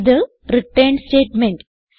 ഇത് return statement